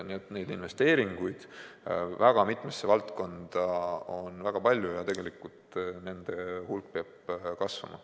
Nii et neid investeeringuid väga mitmesse valdkonda on väga palju ja nende hulk peab kasvama.